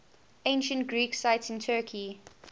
ancient greek sites in turkey